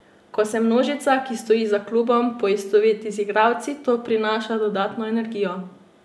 Ko se množica, ki stoji za klubom, poistoveti z igralci, to prinaša dodano energijo.